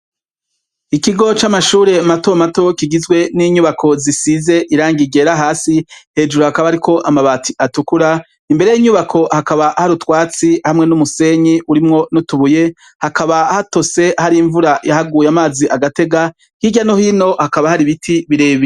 Ikigo c'amashure matomato kigizwe n'inyubako zisize irangi ryera hasi, hejuru hakaba hari amabati atukura, imbere y'inyubako hakaba hari utwatsi hamwe n'umusenyi urimwo n'utubuye hakaba hatose har'imvura yahaguye amazi agatega ,hirya no hino hakaba har'ibiti birebire.